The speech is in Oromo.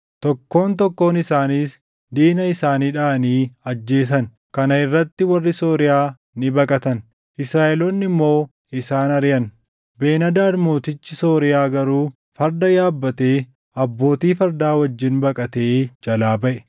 tokkoon tokkoon isaaniis diina isaanii dhaʼanii ajjeesan. Kana irratti warri Sooriyaa ni baqatan; Israaʼeloonni immoo isaan ariʼan. Ben-Hadaad mootichi Sooriyaa garuu farda yaabbatee abbootii fardaa wajjin baqatee jalaa baʼe.